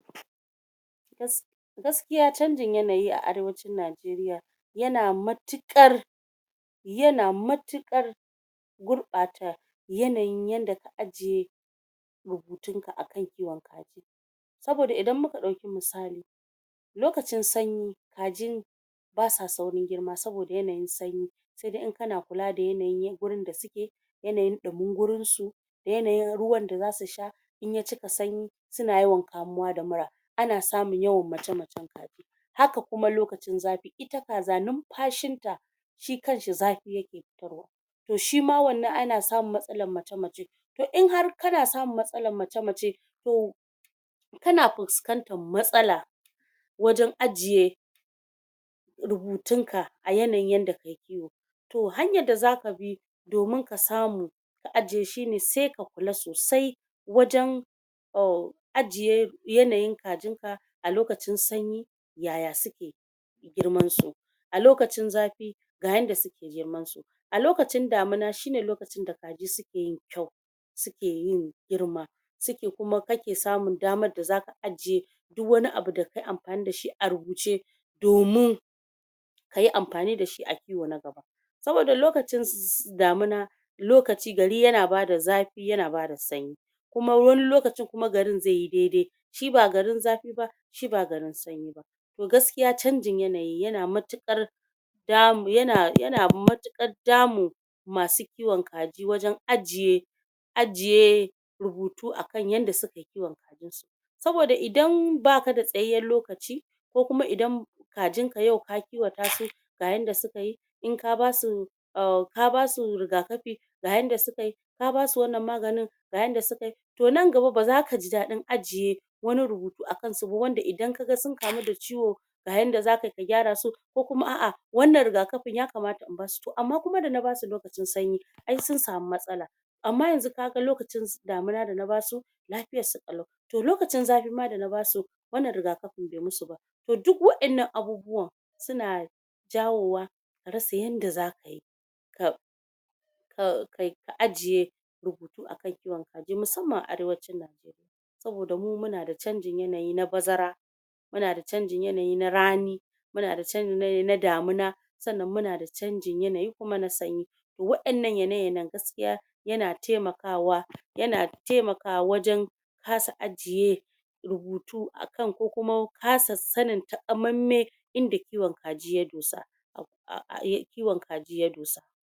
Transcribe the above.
? Gaskiya canjin yanayi a arewacin Nigeria,? yana matuƙar,? yana matuƙar,? gurɓata yanayin yadda ka ajiye,? rubutunka a kan kiwon kaji.? Saboda idan muka ɗauki musali,? lokacin sanyi,? kajin,? basa saurin girma saboda yanayin sanyi.? Sai dai in ka na kula da yanayin da suke.? Yanayin ɗumin gurinsu.? Yanayin ruwa da za su sha.? In ya cika sauyi suna yawan kamuwa da mura.? A na samun yawan mace_nacen kaji. Haka kuwa lokacin zafi. Ita kaza lumfashin ta shi kanshi zafi yake fitarwa.? Toh shima wannan ana samun matsalan mace_mace. Toh in har kana samun matsalan mace_mace, toh,? kana fuskantar matsala wajan ajiye,? wajan ajiye,? rubutun ka a yanayin yadda kayi kiwo. Toh hanyar da za kabi domin ka samu, ka ajiye shine, sai ka kula sosai, wajan,? ajiye yanayin kajin ka a lokacin sanyi yaya suke,? girman su?? A lokacin zafi ga yadda suke girman su. A lokacin damuwa shine lokacin da kaji sukeyin ƙyau. Sukeyin girma. Suke kuma ka ke samun daman da za ka ajiye, duk wani abun da ka yi amfani dashi a rubuce? domin,? ayi amfani dashi a kiwo na gaba.? Saboda lokacin damuwa,? lokaci gari ya na bada zafi yana bada sanyi.? Kuma wani lokacin kuma garin zaiyi daidai.? Shi ba garin zafi ba shi ba garin sanyi ba.? Toh, gaskiya canjin yanayi ya na matuƙar,? ya na matuƙar damun,? masu kiwon kaji wajan ajiye,? ajiye,? rubutu a kan yadda sukayi kiwon kajin su. Saboda idan ba kada tsayayyan lokaci,? ko kuma idan,? kajin ka yau ka kiwata su ga yadda sukayi, in ka basu, ka basu rigakafi ga yadda sukayi, ka basu wannan maganin, ga yadda sukayi. To nan gaba ba za ka ji daɗin ajiye, wani rubutu a kansu ba wanda idan ka ga sun kamu da ciwo, ga yadda za ka yi ka gyarasu. Ko kuwa a'a wannan rigakafin ya kamata in ba su toh amma kuma da na ba su lukacin sanyi, ai sun samu matsala. Amma yanzu ka ga lukacin damuna da na basu, lafiyan su ƙalau. Toh lukacin zafi ma da na ba su wannan rigakafin bai musu ba. Toh duk waƴannan abubuwan suna jawowa ka rasa yadda za ka yi,? ka,? ka ajiye rubutu a kan kiwon kaji. Musamman a arewacin Nigeria. Saboda mu munada canjin yanayi na bazara.? Munada canjin yanayi na rani.? Munada canjin yanayi na damuna.? Sannan munada canjin yanayi kuma na sanyi.? To waƴannan yana_yayen ya na taimakawa wajan,? ya na taimaka wa wajan kasa ajiye? rubutu a kan. Ko kuma kasa sanin takamammen,? inda kiwon kaji ya dosa.? Kiwon kaji ya dosa.